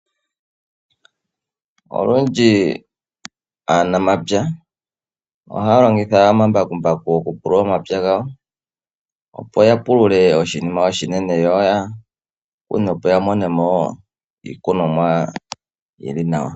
Olundji aanamapya ohaya longitha omambakumbaku oku pulula ompya gawo, opo ya pulule oshinima oshinene yo ya mone mo wo iikunomwa yi li nawa.